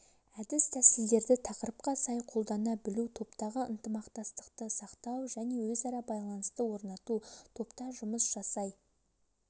әдіс-тәсілдерді тақырыпқа сай қолдана білу топтағы ынтымақтастықты сақтау және өзара байланысты орнату топта жұмыс жасай